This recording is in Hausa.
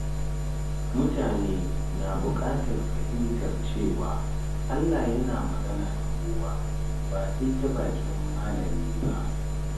Mutane na buƙatar fahimtar cewa Allah yana magana da kowa, ba sai ta bakin malami ba.